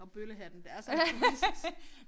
Og bøllehatten det altså en turist